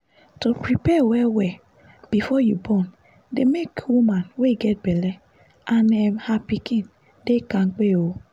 to prepare well well before you born dey make woman wey get belle and um her pikin dey kampe um